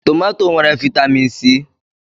Tomato nwere vaịtamịn C.